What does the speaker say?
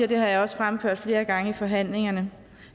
det har jeg også fremført flere gange i forhandlingerne